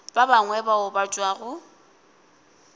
ba bangwe bao ba tšwago